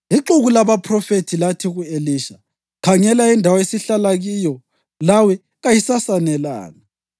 Ixuku labaphrofethi lathi ku-Elisha, “Khangela, indawo esihlala kiyo lawe kayisasanelanga.